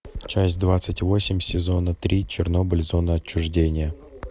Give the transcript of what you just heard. часть двадцать восемь сезона три чернобыль зона отчуждения